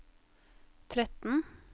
tretten